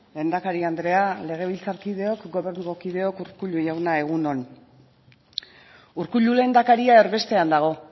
lehendakari andrea legebiltzarkideok gobernuko kideok urkullu jauna egun on urkullu lehendakaria erbestean dago